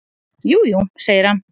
"""Jú, jú, segir hann."""